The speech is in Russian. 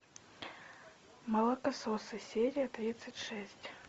молокососы серия тридцать шесть